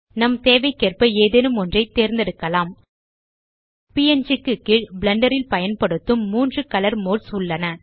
நம் தேவைக்கேற்ப ஏதேனும் ஒன்றை தேர்ந்தெடுக்கலாம் ப்ங் க்கு கீழ் பிளெண்டர் ல் பயன்படுத்தும் மூன்று கலர் மோட்ஸ் உள்ளன